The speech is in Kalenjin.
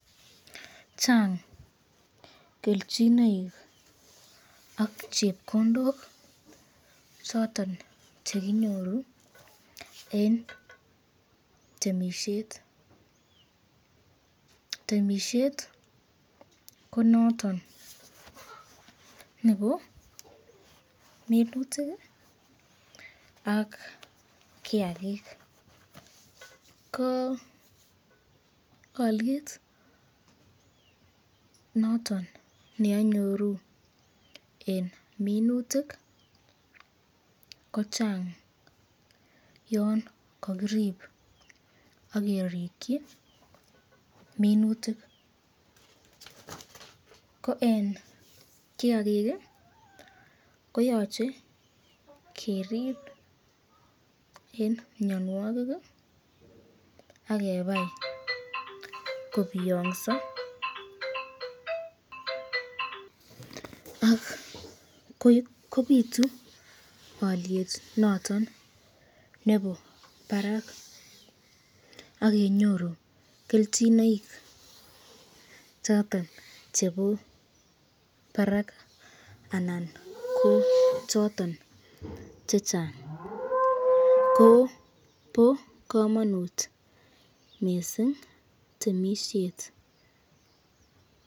Chang kelchinoik ak chepkondok choton chekinyoru eng temisyet, temisyet ko noton nebo minutik ak kiakik, ko alyet noton neanyoru eng minutik ko Chang yon kakirib akerikyi minutik, ko eng kiakik koyache keribe eng mnyanwakik akebai kobiyonso ,ak kobitu alyet noton nebo barak akenyoru kelchinoik choton chebo barak anan ko choton chechang, ko bo kamanut mising temisyet.